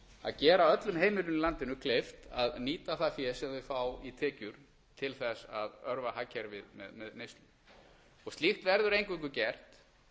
að gera öllum heimilum í landinu kleift að nýta það fé sem þau fá í tekjur til þess að örva hagkerfið með neyslu slíkt verður eingöngu gert